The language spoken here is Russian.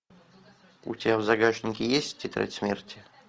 у тебя в загашнике есть тетрадь смерти